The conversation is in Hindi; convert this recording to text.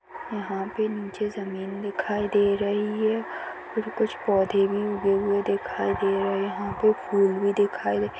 यहाँ पे मुझे जमीन दिखाई दे रही है फिर कुछ पौधे भी उगे हुए दिखाई दे रहे है यहाँ पे फूल भी दिखाई--